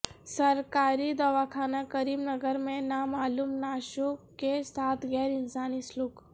سرکاری دواخانہ کریم نگر میں نامعلوم نعشوں کے ساتھ غیر انسانی سلوک